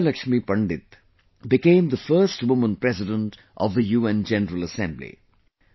Vijaya Lakshmi Pandit became the first woman President of the UN General Assembly